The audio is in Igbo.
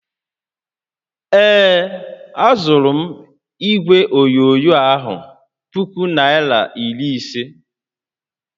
Ee, azụrụ m igwe onyonyo a puku naira iri ise